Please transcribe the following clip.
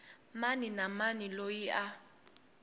mani na mani loyi a